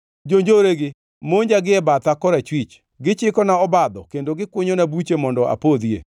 Jonjoregi monja gie batha korachwich; gichikona obadho, kendo gikunyona buche mondo apodhie.